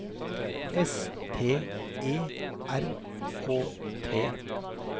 S T E R K T